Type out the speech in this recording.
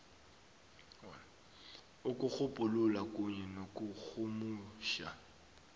ukutjhugulula kunye nokurhumutjha